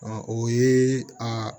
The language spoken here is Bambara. o ye a